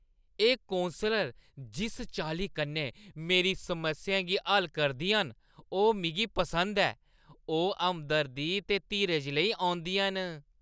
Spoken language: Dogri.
एह् कौंसलर जिस चाल्ली कन्नै मेरी समस्याएं गी हल करदियां न, ओह् मिगी पसंद ऐ। ओह् हमदर्दी ते धीरज लेई औंदियां न।